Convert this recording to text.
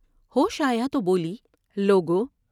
ہوش آیا تو بولی ۔" لوگو!